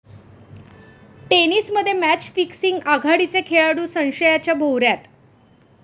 टेनिसमध्ये match fixing? आघाडीचे खेळाडू संशयाच्या भोवऱ्यात